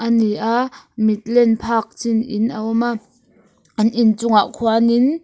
a ni a mit len phak chin in a awm a an inchungah khuanin --